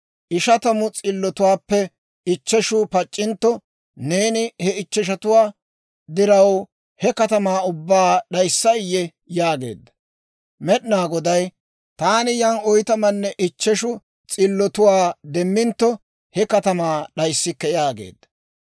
ishatamu s'illotuwaappe ichcheshu pac'c'intto, neeni he ichcheshatuwaa diraw he katamaa ubbaa d'ayssay?» yaageedda. Med'inaa Goday, «Taani yan oytamanne ichcheshu s'illotuwaa demmintto, he katamaa d'ayisikke» yaageedda.